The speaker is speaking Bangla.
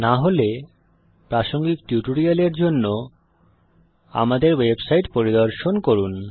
না হলে প্রাসঙ্গিক টিউটোরিয়ালের জন্য আমাদের ওয়েবসাইট পরিদর্শন করুন